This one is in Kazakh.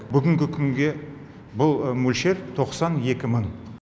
бүгінгі күнге бұл мөлшер тоқсан екі мың